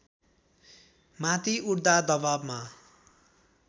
माथि उठ्दा दबावमा